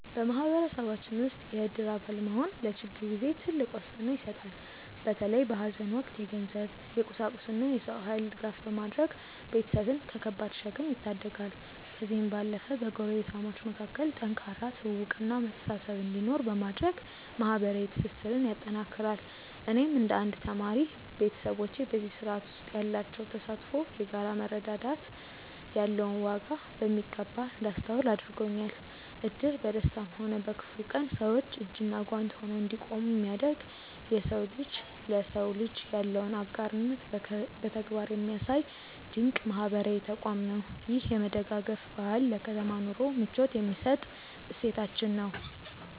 በማህበረሰባችን ውስጥ የእድር አባል መሆን ለችግር ጊዜ ትልቅ ዋስትና ይሰጣል። በተለይ በሐዘን ወቅት የገንዘብ፣ የቁሳቁስና የሰው ኃይል ድጋፍ በማድረግ ቤተሰብን ከከባድ ሸክም ይታደጋል። ከዚህም ባለፈ በጎረቤታሞች መካከል ጠንካራ ትውውቅና መተሳሰብ እንዲኖር በማድረግ ማህበራዊ ትስስርን ያጠናክራል። እኔም እንደ አንድ ተማሪ፣ ቤተሰቦቼ በዚህ ስርዓት ውስጥ ያላቸው ተሳትፎ የጋራ መረዳዳት ያለውን ዋጋ በሚገባ እንዳስተውል አድርጎኛል። እድር በደስታም ሆነ በክፉ ቀን ሰዎች እጅና ጓንት ሆነው እንዲቆሙ የሚያደርግ፣ የሰው ልጅ ለሰው ልጅ ያለውን አጋርነት በተግባር የሚያሳይ ድንቅ ማህበራዊ ተቋም ነው። ይህ የመደጋገፍ ባህል ለከተማ ኑሮ ምቾት የሚሰጥ እሴታችን ነው።